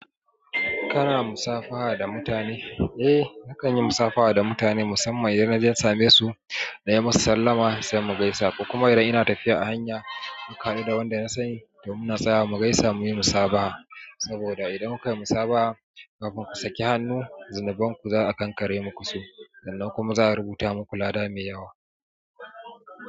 Kana musafaha da mutane? Eh nakan yi musafaha da mutane musamman idan na je na same su na yi musu sallama sai mu gaisa. Kuma idan ina tafiya a hanya, muka haɗu da wanda na sani, to muna tsayawa mu gaisa muyi musabaha. Saboda idan ku kai musabaha kafin ku saki hannu, zunuban ku za'a kankare muku su. Sannan kuma za'a rubuta muku lada mai yawa.